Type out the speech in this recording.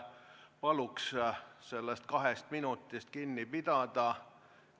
Palun sellest kahest minutist kinni pidada!